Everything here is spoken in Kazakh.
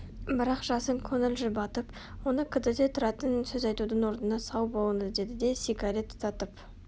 бірақ жасын көңіл жұбатып оны кідірте тұратын сөз айтудың орнына сау болыңыз деді де сигарет тұтатып